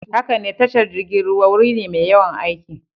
Haka ne, tashar jirgin ruwa wuri ne mai yawan aiki.